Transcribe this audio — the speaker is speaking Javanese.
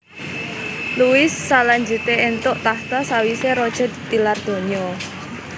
Louis salanjuté éntuk tahta sawisé raja tilar donya